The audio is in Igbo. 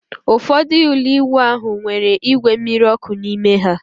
Ụfọdụ ụlọ ịwụ ahụ nwere igwe mmiri ọkụ n'ime ha